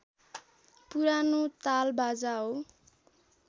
पुरानो तालबाजा हो